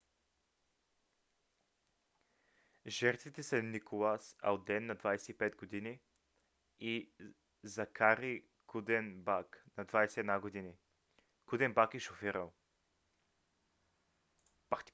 жертвите са николас алден на 25 г. и закари кудебак на 21 г. кудебак е шофирал